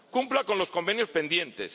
Cumpla con los convenios pendientes.